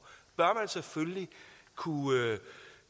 kunne